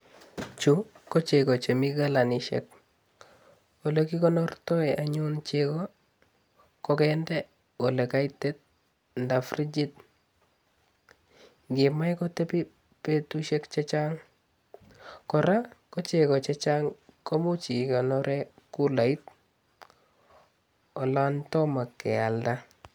Chu ko chego chemi galanisiek. Ole kikonortoe anyun chego kokende ole kaitit anda frijit. Yei imae kotebi betusiek chechang kora, ko chego chechang ko imuch ikonore kulait olon tomo ke alda.